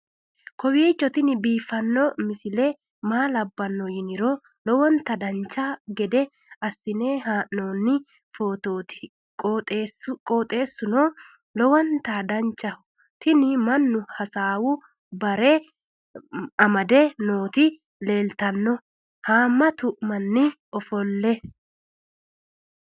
kowiicho tini biiffanno misile maa labbanno yiniro lowonta dancha gede assine haa'noonni foototi qoxeessuno lowonta danachaho. tini mannu hasaawu bare amde nooti leeltanno haammatu mnanni ofolle